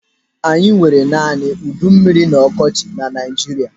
Anyị nwere naanị udummiri na ọkọchị na Naijiria.